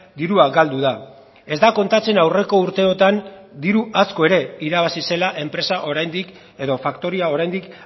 dirua galdu da ez da kontatzen aurreko urteotan diru asko ere irabazi zela enpresa oraindik edo faktoria oraindik